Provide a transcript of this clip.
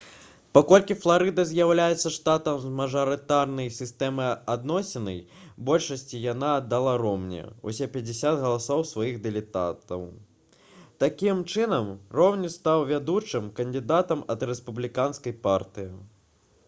паколькі фларыда з'яўляецца штатам з мажарытарнай сістэмай адноснай большасці яна аддала ромні ўсе пяцьдзесят галасоў сваіх дэлегатаў такім чынам ромні стаў вядучым кандыдатам ад рэспубліканскай партыі